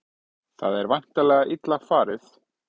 Það er væntanlega illa farið?